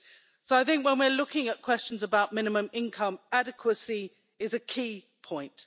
So when we're looking at questions about minimum income, adequacy is a key point.